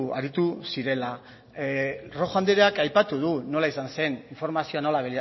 aritu zirela rojo andreak aipatu du nola izan zen informazioa